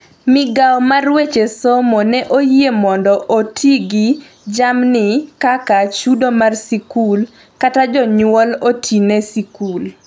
migawo mar weche somo ne oyie mondo oti gi jamni kaka chudo mar sikul kata jonyuol oti ne sikul